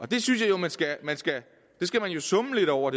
det synes jeg jo man skal summe lidt over